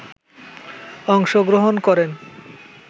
অংশগ্রহণ করেন